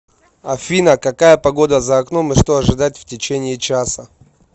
афина какая погода за окном и что ожидать в течение часа